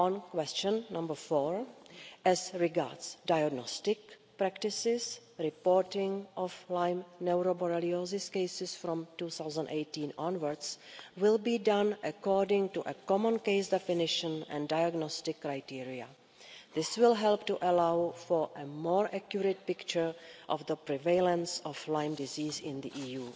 Question four as regards diagnostic practices, reporting of Lyme neuroborreliosis cases from 2018 onwards will be done according to a common case definition and diagnostic criteria. This will help to allow for a more accurate picture of the prevalence of Lyme disease in the EU.